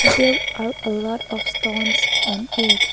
there are a lot of stones on it.